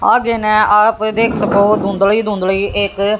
आगे नया आप देख सको धुंधली धुंधलि एक--